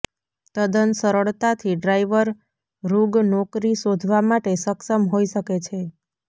તદ્દન સરળતાથી ડ્રાઈવર ઋગ નોકરી શોધવા માટે સક્ષમ હોઈ શકે છે